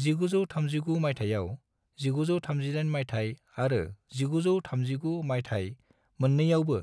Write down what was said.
1939 मायथाइयाव, 1938 मायथाइ आरो 1939 मायथाइ मोननैआवबो